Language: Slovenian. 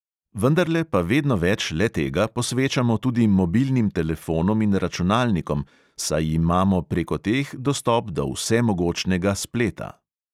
Vendarle pa vedno več le-tega posvečamo tudi mobilnim telefonom in računalnikom, saj imamo preko teh dostop do vsemogočnega spleta.